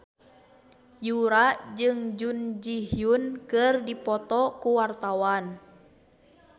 Yura jeung Jun Ji Hyun keur dipoto ku wartawan